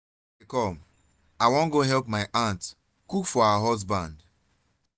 i dey come i wan go help my aunt cook for her husband